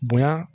Bonya